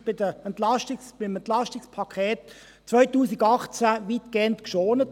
Sie wurde schon beim EP 2018 weitgehend geschont.